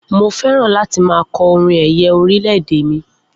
Mo fẹ́ràn láti máa kọ orin ẹ̀yẹ orílẹ̀-èdè mi